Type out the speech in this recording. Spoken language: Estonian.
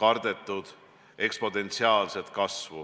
kardetud eksponentsiaalset kasvu.